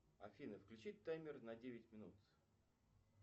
афина включи таймер на девять минут